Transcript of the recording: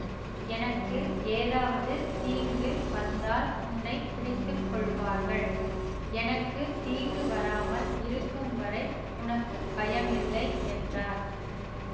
எனக்கு ஏதாவது தீங்கு வந்தால் உன்னை பிடித்து கொள்வார்கள் எனக்கு தீங்கு வராமல் இருக்கும்வரை உனக்கு பயமில்லை என்றார்